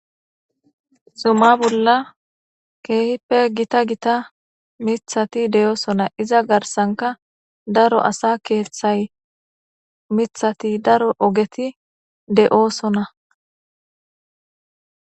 Zuma bolla keehippe gita gita mithati deyoosona iza garsanka daro asa keeththay mithati daro ogeti de7oosona